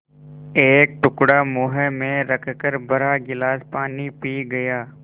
एक टुकड़ा मुँह में रखकर भरा गिलास पानी पी गया